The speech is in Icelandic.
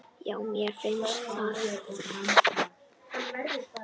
Já, mér finnst það.